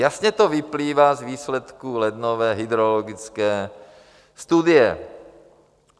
Jasně to vyplývá z výsledku lednové hydrologické studie.